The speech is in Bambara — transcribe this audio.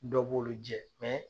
Dɔw b'ulu jɛ